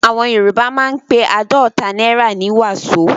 Àwọn Yorùbá máa ń pe àádọ́ta náírà ní "wàsó".